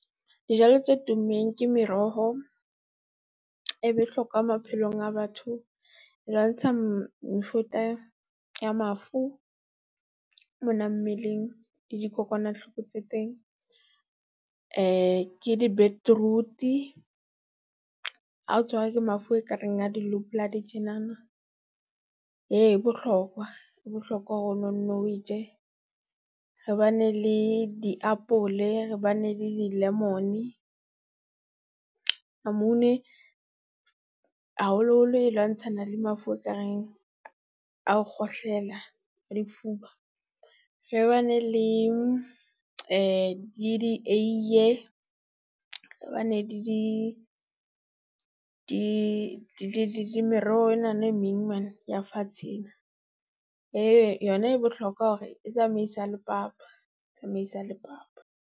Dijalo tse tummeng ke meroho, e bohlokwa maphelong a batho. E lwantsha mefuta ya mafu mona mmeleng le dikokwanahloko tse teng. ke di-beetroot-i, ha o tshwarwa ke mafu e kareng a di-low blood tjenana, e bohlokwa, e bohlokwa hore o nnonno o e je. Re ba ne le diapole, re ba ne le di-lemon-e, lamune haholoholo e lwantshana le mafu ekareng a ho kgohlela lefuba, re bane le le di eiye, re ba ne le di di le meroho enana e meng man ya fatshe ena. Yona e bohlokwa hore e tsamaisa le papa, e tsamaisa le papa.